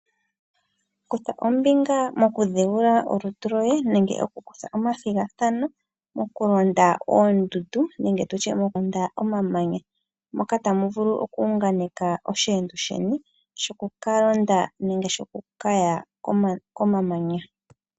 Kutha ombinga mokudhigula olutu lwoye nenge okukutha omathigathano mokulonda oondundu nenge tutye mokulonda omamanya. Moka tamu vulu okuunganeka osheendo sheni shokuka londa nenge shokukaya komamanya.